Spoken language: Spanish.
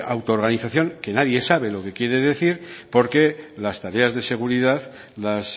auto organización que nadie sabe lo que quiere decir porque las tareas de seguridad las